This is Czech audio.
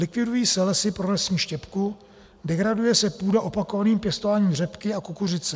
Likvidují se lesy pro lesní štěpku, degraduje se půda opakovaným pěstováním řepky a kukuřice.